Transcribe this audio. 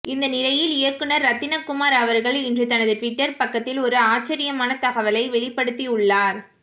இந்த நிலையில் இயக்குனர் ரத்தினகுமார் அவர்கள் இன்று தனது டுவிட்டர் பக்கத்தில் ஒரு ஆச்சரியமான தகவலை வெளிப்படுத்தியுள்ளார்